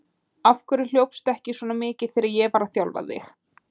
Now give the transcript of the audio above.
Af hverju hljópstu ekki svona mikið þegar ég var að þjálfa þig?